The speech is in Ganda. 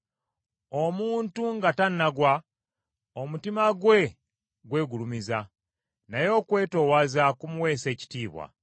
Omuntu nga tannagwa, omutima gwe gwegulumiza, naye okwetoowaza kumuweesa ekitiibwa.